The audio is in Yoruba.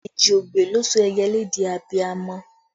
Èjì ogbè ló sọ ẹyẹlé di abiamọ